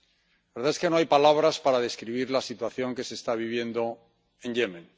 La verdad es que no hay palabras para describir la situación que se está viviendo en Yemen.